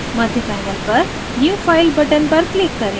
मध्य panel पर new file button पर click करें